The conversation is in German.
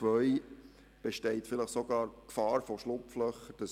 Zweitens besteht vielleicht sogar die Gefahr von Schlupflöchern: